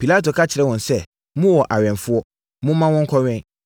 Pilato ka kyerɛɛ wɔn sɛ, “Mowɔ awɛmfoɔ. Momma wɔnkɔwɛn.”